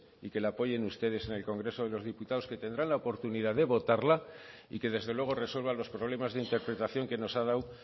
y que la apoyen ustedes en el congreso de los diputados que tendrán la oportunidad de votarla y que desde luego resuelvan los problemas de interpretación que nos ha dado